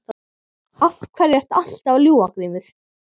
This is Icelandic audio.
Af hverju ertu alltaf að ljúga Grímur?